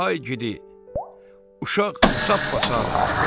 Ay igidi, uşaq sap-bağdı.